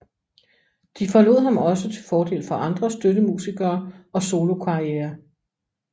De forlod ham også til fordel for andre støttemusikere og solokarrierer